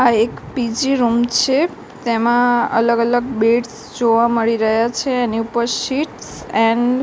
આ એક P G room છે તેમા અલગ અલગ બેડ્સ જોવા મળી રહ્યા છે એની ઉપર શીટ્સ એન્ડ --